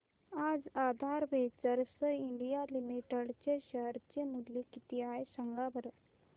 आज Aadhaar Ventures India Limited चे share चे मूल्य किती आहे सांगा बरं